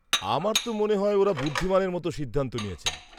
-আমার তো মনে হয় ওঁরা বুদ্ধিমানের মতো সিদ্ধান্ত নিয়েছেন।